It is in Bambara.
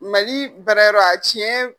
Mali baara yɔrɔ a tiɲɛ.